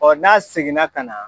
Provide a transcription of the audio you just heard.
n'a seginna ka na